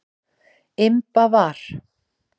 Imba var.